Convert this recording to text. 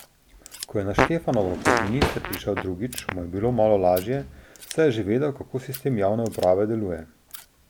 Ko je na Štefanovo kot minister prišel drugič, mu je bilo malo lažje, saj je že vedel, kako sistem javne uprave deluje.